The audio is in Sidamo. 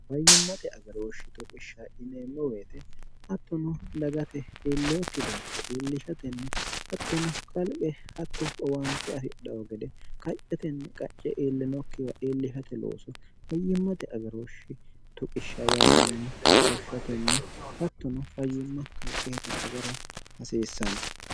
bayyimmate agarooshshi toqishsha ineemmo weete hattono dagate iilleokki bayecho iillishatenni hattono kalqe hatto owaante afi dhao gede qaccetenni qacce iillinokkiwa iillishate looso fayyimmate agarooshshi tuqishsha yaatenni woshshatenni hattono fayyimma kalqeeta agara hasiissanno